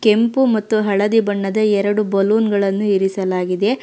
ಕೆಂಪು ಮತ್ತು ಹಳದಿ ಬಣ್ಣದ ಎರಡು ಬಲೂನ್ ಗಳನ್ನು ಇರಿಸಲಾಗಿದೆ.